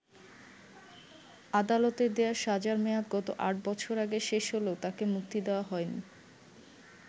আদালতের দেয়া সাজার মেয়াদ গত আট বছর আগে শেষ হলেও তাকে মুক্তি দেয়া হয়নি।